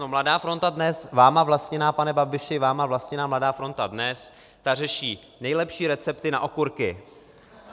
No Mladá fronta DNES, vámi vlastněná, pane Babiši, vámi vlastněná Mladá fronta DNES, ta řeší nejlepší recepty na okurky!